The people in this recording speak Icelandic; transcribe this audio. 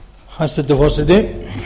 hæstvirtur forseti ég